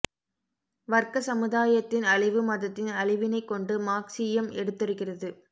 வர்க்கச் சமுதாயத்தின் அழிவு மதத்தின் அழிவினைக் கொண்டு மார்க்சியம் எடுத்துரைக்கிறது